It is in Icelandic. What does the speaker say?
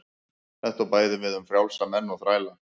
Þetta á bæði við um frjálsa menn og þræla.